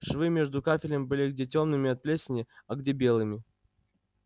швы между кафелем были где тёмными от плесени а где белыми